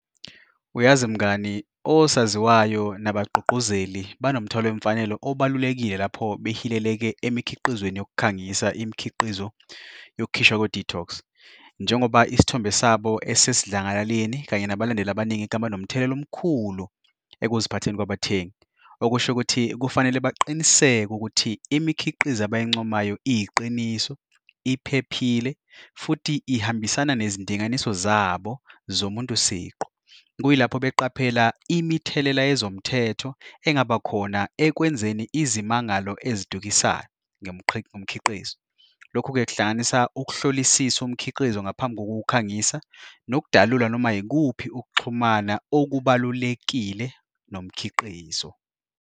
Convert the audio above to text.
Uyazi mngani, osaziwayo nabagqugquzeli banomthelela wemfanelo obalulekile lapho behileleke emikhiqizweni yokukhangisa imikhiqizo wokukhishwa kwe-detox njengoba isithombe sabo esesidlangalaleni, kanye nabalandeli abaningi ekhaya banomthelela omkhulu ekuziphatheni kwabathengi, okusho ukuthi kufanele baqiniseke ukuthi imikhiqizo abayincomayo iyiqiniso, iphephile, futhi ihambisana nezindinganiso zabo zomuntu siqu. Kuyilapho beqaphela imithelela yezomthetho engabakhona ekwenzeni izimangalo ezidayisayo ngomkhiqizo. Lokhu-ke kuhlanganisa ukuhlolisisa umkhiqizo ngaphambi kokuwukhangisa nokudalula noma ikuphi ukuxhumana okubalulekile nomkhiqizo.